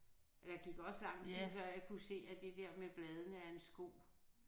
Der gik også lang tid før jeg kunne se at det der med bladene er en sko